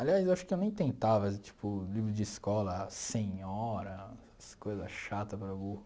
Aliás, acho que eu nem tentava, as tipo, livro de escola, Senhora, essas coisas chata para burro.